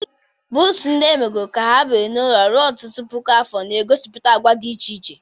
Buusu, ndị emegoro ka ha biri n'ụlọ ruo ọtụtụ puku afọ, na-egosipụta àgwà dị iche iche.